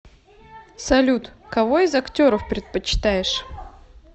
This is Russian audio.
салют кого из актеров предпочитаешь